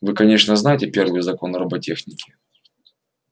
вы конечно знаете первый закон роботехники